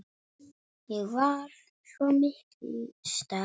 Ég var svo miklu stærri.